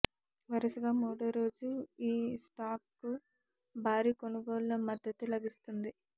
వరుసగా మూడోరోజూ ఈ స్టాక్కు భారీ కొనుగోళ్ళ మద్దతు లభిస్తోంది